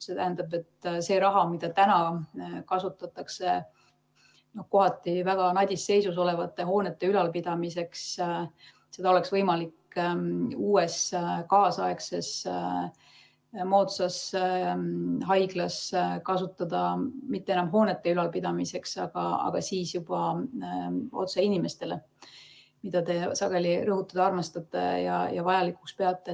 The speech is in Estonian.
See tähendab, et seda raha, mida kasutatakse kohati väga nadis seisus olevate hoonete ülalpidamiseks, oleks võimalik uues moodsas haiglas kasutada mitte enam hoonete ülalpidamiseks, vaid juba otse inimeste heaks, mida te sageli rõhutada armastate ja vajalikuks peate.